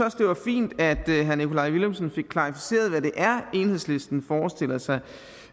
også det var fint at herre nikolaj villumsen fik klarificeret hvad det er enhedslisten forestiller sig